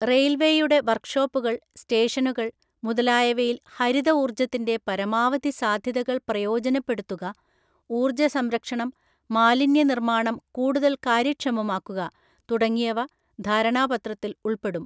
റെയില്‍വെയുടെ വര്‍ക് ഷോപ്പുകള്‍, സ്റ്റേഷനുകള്‍ മുതലായവയില്‍ ഹരിത ഊർജ്ജത്തിന്‍റെ പരമാവധി സാധ്യതകള്‍ പ്രയോജനപ്പെടുത്തുക, ഊർജ്ജസംരക്ഷണം, മാലിന്യ നിർമ്മാർജനം കൂടുതല്‍ കാര്യക്ഷമമാക്കുക തുടങ്ങിയവ ധാരണാപത്രത്തില്‍ ഉള്‍പ്പെടും.